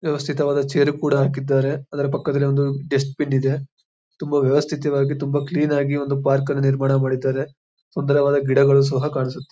ವ್ಯವಸ್ಥಿತವಾದ chair ಕೂಡ ಹಾಕಿದ್ದಾರೆ ಅದರ ಪಕ್ಕದಲ್ಲಿ ಒಂದು ಡಸ್ಟ್ ಬಿನ್ ಇದೆ. ತುಂಬಾ ವ್ಯವಸ್ಥಿತವಾಗಿ ತುಂಬಾ ಕ್ಲೀನ್ ಆಗಿ ಒಂದು ಪಾರ್ಕ ಅನ್ನ ನಿರ್ಮಾಣ ಮಾಡಿದ್ದಾರೆ . ಸುಂದರವಾದ ಗಿಡಗಳು ಸಹ ಕಾಣಿಸುತ್ತೆ.